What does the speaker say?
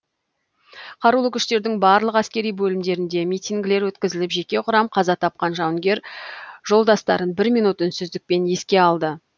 қарулы күштердің барлық әскери бөлімдерінде митингілер өткізіліп жеке құрам қаза тапқан жауынгер жолдастарын бір минут үнсіздікпен еске алды